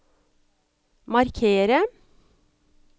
markere